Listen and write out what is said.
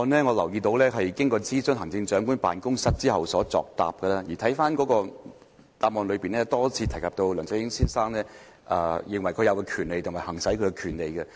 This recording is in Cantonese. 我留意到司長的答覆是經諮詢行政長官辦公室後作出的，而主體答覆多次提及梁振英先生認為他有權利，以及可以行使其權利。